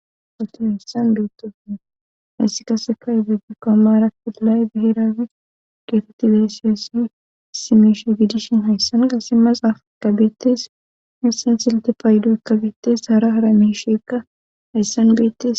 Woti hayssan buittofne hayssi kaseka ibidi koomara pila7y biherafi geetotti beeseessi simeshe giidishin hayssanga si maxaaf ikabeettes hissan silte paayido kabeettes hara hara mishekka hayssan beettes